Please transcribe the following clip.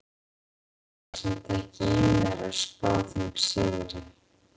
Hef það samt ekki í mér að spá þeim sigri.